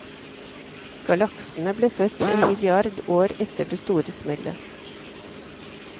Galaksene ble født en milliard år etter det store smellet.